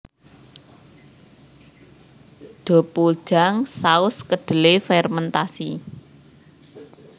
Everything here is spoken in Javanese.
Deopuljang saus kedelai fermentasi